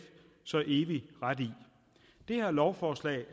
så evig ret i det her lovforslag